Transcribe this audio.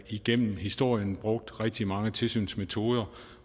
igennem historien brugt rigtig mange tilsynsmetoder